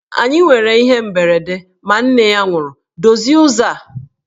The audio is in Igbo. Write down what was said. Anyị nwere ihe mberede ma nne ya nwụrụ, dozie ụzọ a!